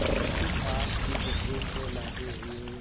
उस पाप की गठरी को लादे हुए